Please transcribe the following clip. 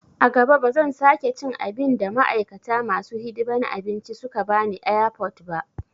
A gaba ba zan sake cin abin da ma'aikata masu hidiman abinci suka bani airport ba